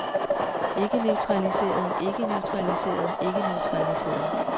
ikkeneutraliserede ikkeneutraliserede ikkeneutraliserede